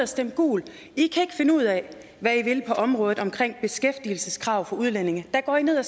stemt gult i kan ikke finde ud af hvad i vil på området omkring beskæftigelseskrav for udlændinge der går i ned og